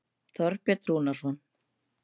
Þorbjörn Rúnarsson.